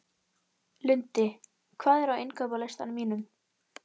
Lundi, hvað er á innkaupalistanum mínum?